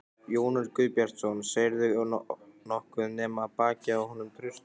Jón Örn Guðbjartsson: Sérðu nokkuð nema bakið á honum Trausta?